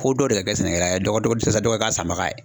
Ko dɔw de ka kɛ sɛnɛkɛla ye dɔ dɔ dɔ ka k'a sanbaga ye